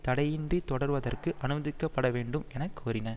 தடையின்றித் தொடருவதற்கு அனுமதிக்கப்படவேண்டும் என கோரின